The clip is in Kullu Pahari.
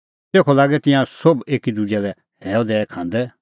तेखअ लागै तिंयां सोभ एकी दुजै लै हैअ दैई खांदै